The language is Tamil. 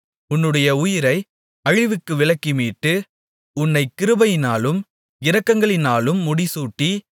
உன்னுடைய உயிரை அழிவுக்கு விலக்கி மீட்டு உன்னைக் கிருபையினாலும் இரக்கங்களினாலும் முடிசூட்டி